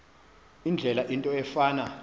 indlela into efana